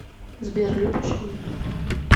сбер любишь меня